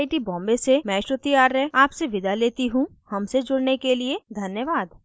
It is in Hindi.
आई आई टी बॉम्बे से मैं श्रुति आर्य आपसे विदा लेती हूँ हमसे जुड़ने के लिए धन्यवाद